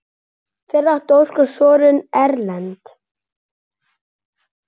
Fyrir átti Óskar soninn Erlend.